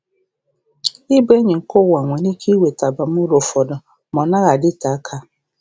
Ịbụ enyi nke ụwa nwere ike iweta abamuru ụfọdụ, ma ọ naghị adịte aka.